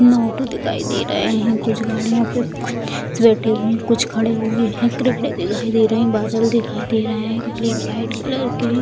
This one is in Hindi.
इन ऑटो दिखाई दे रहे हैं कुछ गाड़ियों पे बैठे हुए हैं खड़े हुए हैं दिखाई दे रहे हैं बादल दिखाई दे रहे हैं ब्लैक व्हाइट कलर के।